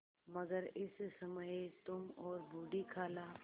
मगर इस समय तुम और बूढ़ी खाला